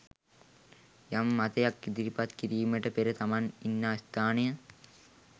යම් මතයක් ඉදිරිපත් කිරීමට පෙර තමන් ඉන්නා ස්ථානය